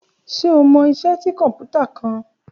Ṣe o mọ iṣẹ ti kọnputa kan?